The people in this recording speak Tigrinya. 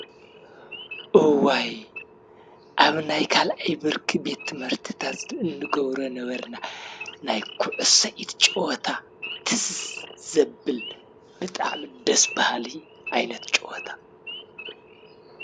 እዋይ! አብ ናይ ካልኣይ ብርኪ ቤት ትምህርቲታት እንገብሮ ዝነበርና ናይ ኩዕሶ ኢድ ጨወታ ትዝ ዘብል ብጣዕሚ ደስ ብሃልቲ ዓይነት ጨወታ ።